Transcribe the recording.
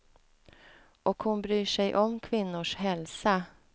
Och hon bryr sig om kvinnors hälsa.